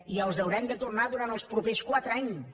i els haurem de tornar durant els propers quatre anys